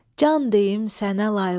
Can deyim sənə layla.